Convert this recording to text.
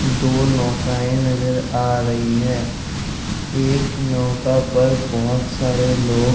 दो नौकाये नजर आ रही हैं। एक नौका पर बहोत सारे लोग --